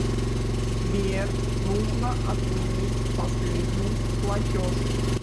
сбер нужно отменить последний платеж